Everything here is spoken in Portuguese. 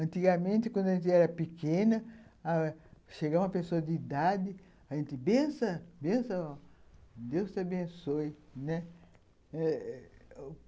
Antigamente, quando a gente era pequena ãh, chega uma pessoa de idade, a gente, benção, benção, ó, Deus te abençoe, né?